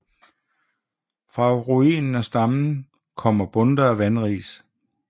Fra ruinen af stammen kommer bundter af vanris